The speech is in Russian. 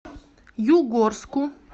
югорску